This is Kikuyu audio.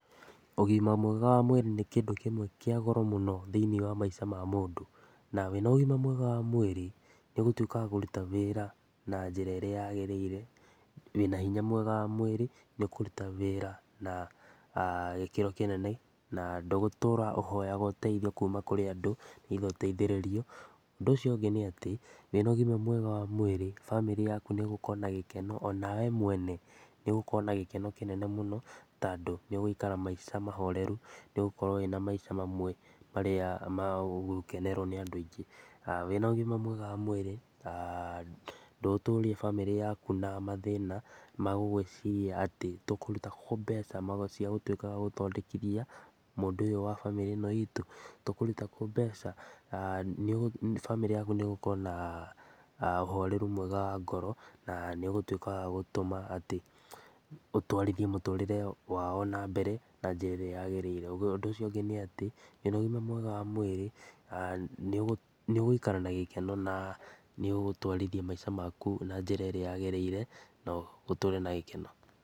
Ũgima mwega wa mwĩrĩ nĩ kĩndũ kĩmwe kia goro mũno thĩinĩ wa maica ma mũndũ na wĩna ũgima mwega wa mwĩrĩ nĩ ũgũtuĩka wa kũruta wĩra na njĩra ĩrĩa yagĩrĩire. Wĩna hinya mwega wa mwĩrĩ nĩũkũruta wĩra na gikeno kĩnene na ndũgũtũra ũhoyaga ũteithio kuuma kũrĩ andũ kuuga ũteithĩrĩrio. Ũndũ ũcio ũngĩ nĩ ati wĩna ũgima wega wa mwĩrĩ famĩrĩ yaku nĩ ĩgũkorwo na gĩkeno onawe mwene nĩ ũgukorwo na gĩkeno kĩnene mũno tandũ nĩũgũikara maica mahoreru, nĩ ũgukorwo wĩna maica mamwe marĩa ma gũkenerwo nĩ andũ aingĩ. Wĩna ũgima mwega wa mwĩrĩ ndũgũtũria famĩrĩ yaku na mathĩna magũgwĩciria atĩ tũkũruta kũũ mbeca cia gũtuĩka wa gũgũthondekithia mũndũ ũyũ wa famĩrĩ itũ, tũkũruta kũũ mbeca, famĩrĩ yaku nĩ ĩgũkorwo na ũhoreru mwega wa ngoro na nĩũgũtuĩka wa gũtũma atĩ ũtũarithie mũtũrire wao nambere na njĩra ĩrĩa yagĩrĩire. Ũndũ ũcio ũngĩ nĩ atĩ wĩna ũgima mwega wa mwĩrĩ nĩũgũikara na gĩkeno na nĩugutwarithia maica maku na njĩra ĩrĩa yagĩrĩire na ũtũre na gĩkeno.